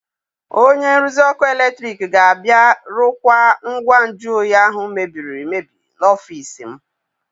Onye nruzi ọkụ eletrik ga-abịa rụkwaa ngwa nju oyi ahụ mebiri emebi n'ọfiisi m.